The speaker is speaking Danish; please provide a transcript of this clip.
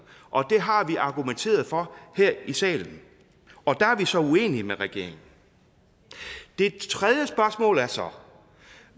det har vi argumenteret for her i salen og der er vi så uenige med regeringen det tredje spørgsmål er så